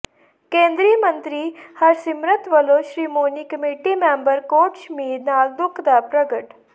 ਕੇਂਦਰੀ ਮੰਤਰੀ ਹਰਸਿਮਰਤ ਵਲੋਂ ਸ਼੍ਰੋਮਣੀ ਕਮੇਟੀ ਮੈਂਬਰ ਕੋਟਸ਼ਮੀਰ ਨਾਲ ਦੁੱਖ ਦਾ ਪ੍ਰਗਟ